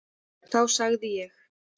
Þá segði ég: